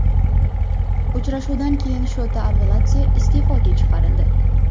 Uchrashuvdan keyin Shota Arveladze iste’foga chiqarildi.